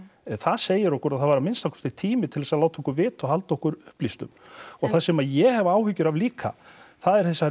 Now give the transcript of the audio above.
það segir okkur að það var að minnsta kosti tími til að láta okkur vita og halda okkur upplýstum og það sem að ég hef áhyggjur af líka eru þessar